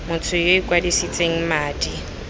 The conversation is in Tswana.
motho yo o ikwadisitseng madi